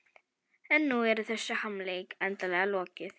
En nú er þessum harmleik endanlega lokið.